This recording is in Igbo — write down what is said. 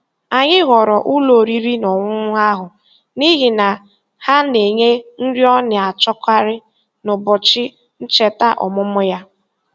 Anyị họọrọ ụlọ oriri na ọṅụṅụ ahụ n'ihi na ha na-enye nri ọ na-achọkarị n'ụbọchị ncheta ọmụmụ ya.